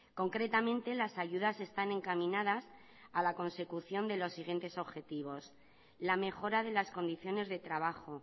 concretamente las ayudas están encaminadas a la consecución de los siguientes objetivos la mejora de las condiciones de trabajo